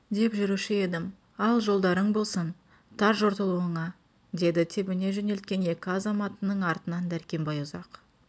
деп жүруші едім ал жолдарың болсын тарт жортуылыңа деді тебіне жөнелген екі азаматының артынан дәркембай ұзақ